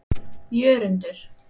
Jörundur